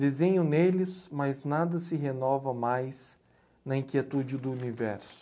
Desenho neles, mas nada se renova mais na inquietude do universo.